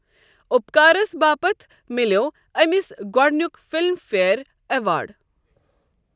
اپکارَس باپتھ مِلیٚو أمِس گۄڈٕنیُک فِلم فیئر ایوارڈ۔